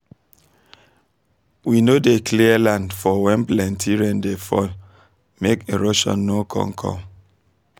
we no dey clear land for when plenty rain dey fall make erosion no con come